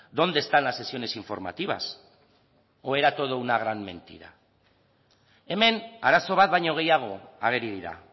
dónde están las sesiones informativas o era todo una gran mentira hemen arazo bat baino gehiago ageri dira